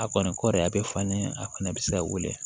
A kɔni kɔɔri a bɛ falen a kɔnɔ bɛ se ka wele